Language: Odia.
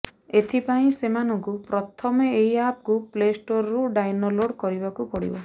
ଏଥିପାଇଁ ସେମାନଙ୍କୁ ପ୍ରଥମେ ଏହି ଆପକୁ ପ୍ଲେଷ୍ଟୋରରୁ ଡାଇନଲୋଡ୍ କରିବାକୁ ପଡ଼ିବ